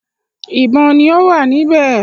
ìbọn ni ọ wá níbè